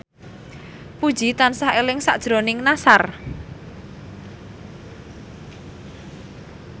Puji tansah eling sakjroning Nassar